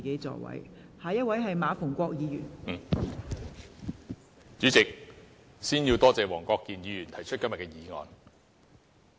代理主席，首先要感謝黃國健議員提出今天的議案。